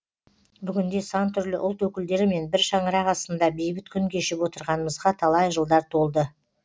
бүгінде сан түрлі ұлт өкілдерімен бір шаңырақ астында бейбіт күн кешіп отырғанымызға талай жылдар толды